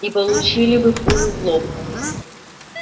и получили бы пулю в лоб